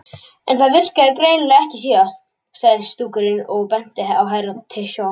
En það virkaði greinilega ekki síðast, sagði skúrkurinn og benti á Herra Toshizo.